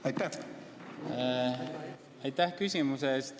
Aitäh küsimuse eest!